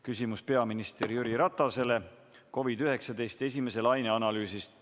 Küsimus peaminister Jüri Ratasele COVID-19 esimese laine analüüsi kohta.